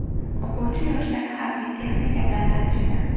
O‘quvchi yoshlar harbiy texnika bilan tanishdi.